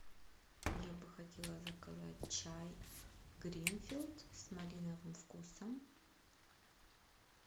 я бы хотела заказать чай гринфилд с малиновым вкусом